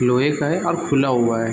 लोहे का है और खुला हुआ है ।